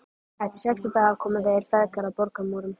Eftir sextán daga komu þeir feðgar að borgarmúrum